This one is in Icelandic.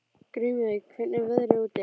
Grímey, hvernig er veðrið úti?